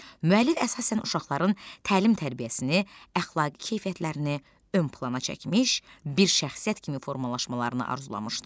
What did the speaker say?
Müəllif əsasən uşaqların təlim-tərbiyəsini, əxlaqi keyfiyyətlərini ön plana çəkmiş, bir şəxsiyyət kimi formalaşmalarını arzulamışdı.